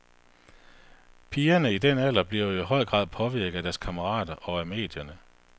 Pigerne i den alder bliver jo i høj grad påvirket af deres kammerater og af medierne.